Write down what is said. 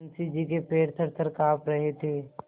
मुंशी जी के पैर थरथर कॉँप रहे थे